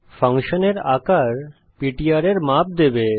ফাংশনের আকার পিটিআর এর মাপ দেবে